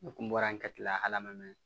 Ne kun bɔra n ka kile la ala ma mɛn